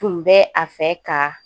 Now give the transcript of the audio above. Tun bɛ a fɛ ka